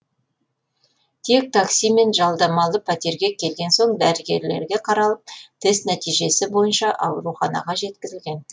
тек таксимен жалдамалы пәтерге келген соң дәрігерлерге қаралып тест нәтижесі бойынша ауруханаға жеткізілген